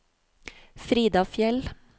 Frida Fjeld